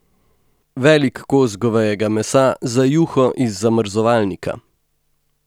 Velik kos govejega mesa za juho iz zamrzovalnika.